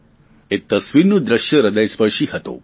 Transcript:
એ તસવીરનું દ્રશ્ય ર્હદયસ્પર્શી હતું